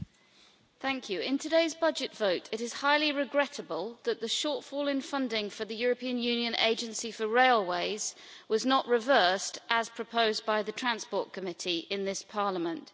Mr President, in today's budget vote, it is highly regrettable that the shortfall in funding for the European Union Agency for Railways was not reversed, as proposed by the Committee on Transport and Tourism, in this Parliament.